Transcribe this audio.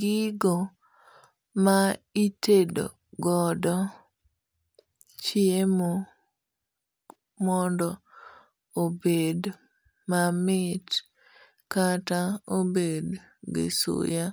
gigo ma itedo godo chiemo mondo obed mamit kata obed gi suya.